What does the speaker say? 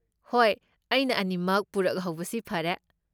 ꯍꯣꯏ, ꯑꯩꯅ ꯑꯅꯤꯃꯛ ꯄꯨꯔꯛꯍꯧꯕꯁꯤ ꯐꯔꯦ꯫